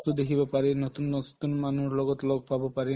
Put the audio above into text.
বস্তু দেখিব পাৰি নতুন মানুহৰ লগত লগ পাব পাৰি